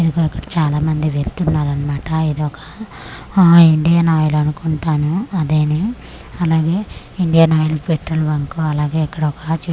ఇదిగో అక్కడ చాలా మంది వెళ్తున్నారన్మాట ఇదొక ఆఆ ఇండియన్ ఆయిల్ అనుకుంటాను అదేను అలాగే ఇండియన్ ఆయిల్ పెట్రోల్ బంకు అలాగే అక్కడ ఒక చెట్టు కొ'--'